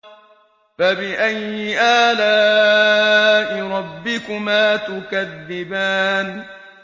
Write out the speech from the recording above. فَبِأَيِّ آلَاءِ رَبِّكُمَا تُكَذِّبَانِ